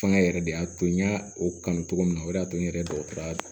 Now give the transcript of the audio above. Fanga yɛrɛ de y'a to n y'a o kanu cogo min na o de y'a to n yɛrɛ dɔgɔtɔrɔya